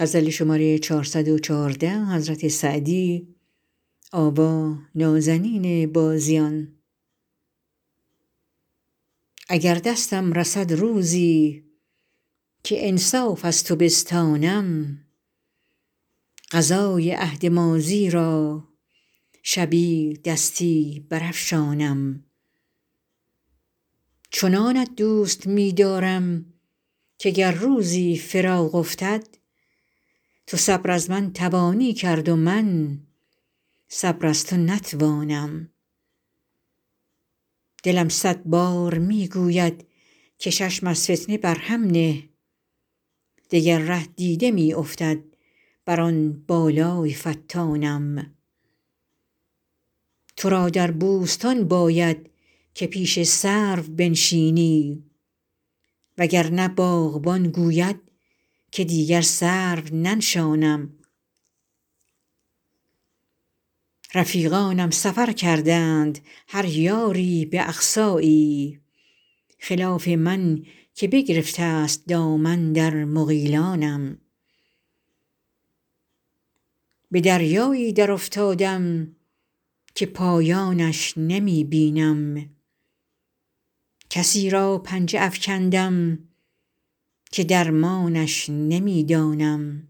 اگر دستم رسد روزی که انصاف از تو بستانم قضای عهد ماضی را شبی دستی برافشانم چنانت دوست می دارم که گر روزی فراق افتد تو صبر از من توانی کرد و من صبر از تو نتوانم دلم صد بار می گوید که چشم از فتنه بر هم نه دگر ره دیده می افتد بر آن بالای فتانم تو را در بوستان باید که پیش سرو بنشینی وگرنه باغبان گوید که دیگر سرو ننشانم رفیقانم سفر کردند هر یاری به اقصایی خلاف من که بگرفته است دامن در مغیلانم به دریایی درافتادم که پایانش نمی بینم کسی را پنجه افکندم که درمانش نمی دانم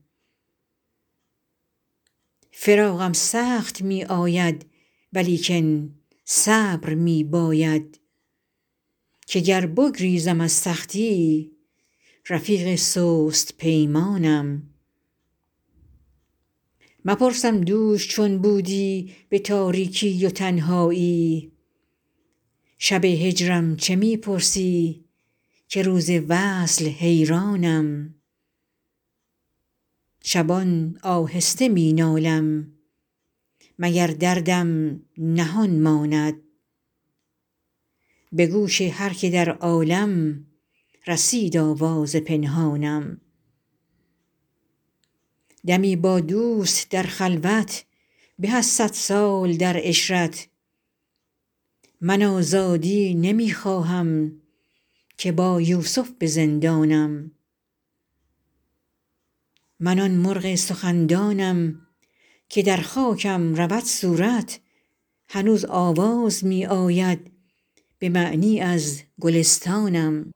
فراقم سخت می آید ولیکن صبر می باید که گر بگریزم از سختی رفیق سست پیمانم مپرسم دوش چون بودی به تاریکی و تنهایی شب هجرم چه می پرسی که روز وصل حیرانم شبان آهسته می نالم مگر دردم نهان ماند به گوش هر که در عالم رسید آواز پنهانم دمی با دوست در خلوت به از صد سال در عشرت من آزادی نمی خواهم که با یوسف به زندانم من آن مرغ سخندانم که در خاکم رود صورت هنوز آواز می آید به معنی از گلستانم